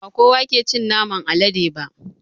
Bakowa ke cin naman alade ba